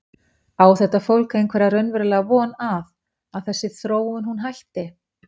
Á þetta fólk einhverja raunverulega von að, að þessi þróun hún hætti?